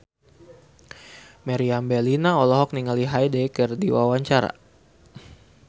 Meriam Bellina olohok ningali Hyde keur diwawancara